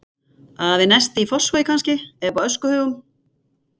Við Nesti í Fossvogi kannski, eða uppi á öskuhaugum.